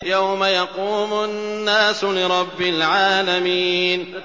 يَوْمَ يَقُومُ النَّاسُ لِرَبِّ الْعَالَمِينَ